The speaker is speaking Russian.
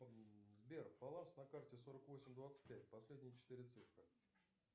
сбер баланс на карте сорок восемь двадцать пять последние четыре цифры